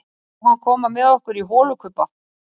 Má hann koma með okkur í holukubba?